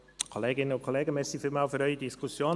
Ich danke Ihnen für die Diskussion.